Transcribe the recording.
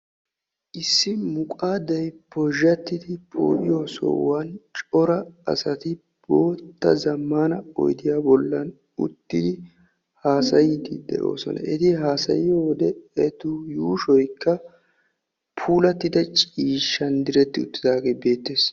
Issi muqaadday pozhzhattidi poo"iyoo sohuwan cora asati bootta zammaana oydiyaa bollan uttidi haasayiiddi de'oosona. Eti haasayiyo wode etu yuushoykka puulattida ciishshan diretti uttidaagee beettees.